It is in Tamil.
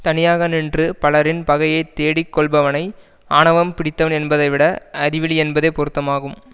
தனியாக நின்று பலரின் பகையை தேடிக் கொள்பவனை ஆணவம் பிடித்தவன் என்பதைவிட அறிவிலி என்பதே பொருத்தமாகும்